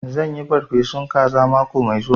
Zan yi farfesun kaza mako mai zuwa